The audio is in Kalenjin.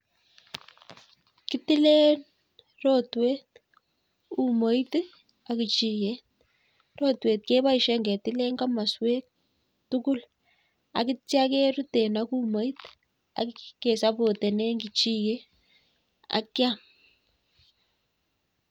Kitilen rotwet, umoit ak kechiget, rotwet keboishien ketilen koswek tugul ak yeityoo keruten umoit ak ketien kechiget ak kiam